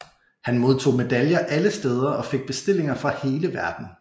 Han modtog medaljer alle steder og fik bestillinger fra hele verden